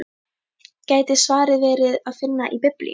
Gæti svarið verið að finna í Biblíunni?